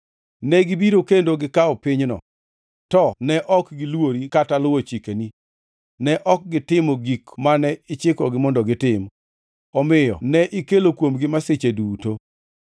Negibiro kendo gikawo pinyno, to ne ok gilwori kata luwo chikeni; ne ok gitimo gik mane ichikogi mondo gitim. Omiyo ne ikelo kuomgi masichegi duto.